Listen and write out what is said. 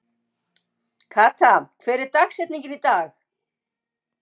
Kata, hver er dagsetningin í dag?